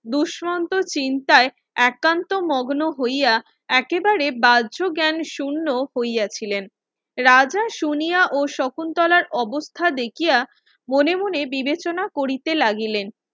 দুস্মন্ত চিন্তায় একান্ত মগ্ন হইয়া একেবারে ব্যাজ জ্ঞান শুন্য হইয়াছিলেন রাজা শুনিয়া ও শকুন্তলার অবস্থা দেখিয়া মনে মনে বিবেচনা করিতে লাগিলেন